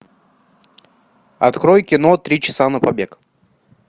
открой кино три часа на побег